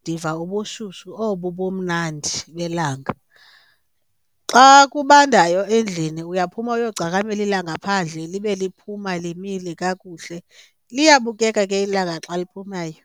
ndiva ubushushu obu bumnandi belanga. Xa kubandayo endlini uyaphuma uyogcakamela ilanga phandle libe liphuma limile kakuhle. Liyabukeka ke ilanga xa liphumayo.